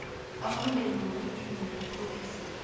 amalungelo wobuntu nobupholisa